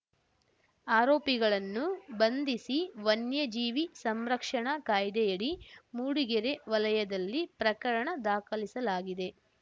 ಆರೋಪಿಗಳನ್ನು ಬಂಧಿಸಿ ವನ್ಯಜೀವಿ ಸಂರಕ್ಷಣಾ ಕಾಯ್ದೆಯಡಿ ಮೂಡಿಗೆರೆ ವಲಯದಲ್ಲಿ ಪ್ರಕರಣ ದಾಖಲಿಸಲಾಗಿದೆ